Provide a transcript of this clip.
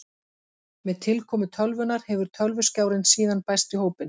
Með tilkomu tölvunnar hefur tölvuskjárinn síðan bæst í hópinn.